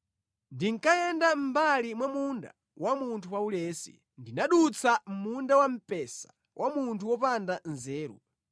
Ndinkayenda mʼmbali mwa munda wa munthu waulesi ndinadutsa munda wamphesa wa munthu wopanda nzeru.